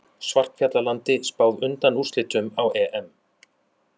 Svartfjallalandi spáð undanúrslitum á EM